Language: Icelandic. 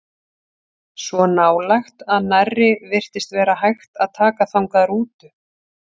Svo nálægt að nærri virtist vera hægt að taka þangað rútu.